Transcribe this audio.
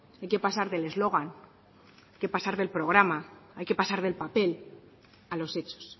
hay que pasar del eslogan hay que pasar del programa hay que pasar del papel a los hechos